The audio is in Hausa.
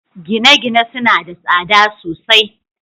gine-gine suna da tsada sosai